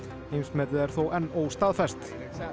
heimsmetið er þó enn óstaðfest